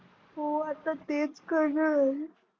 हो आता तेच करणार आहे.